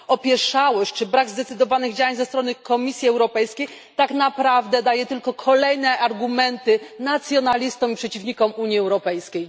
Opieszałość czy brak zdecydowanych działań ze strony Komisji Europejskiej tak naprawdę daje tylko kolejne argumenty nacjonalistom i przeciwnikom Unii Europejskiej.